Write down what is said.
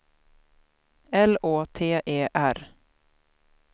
L Å T E R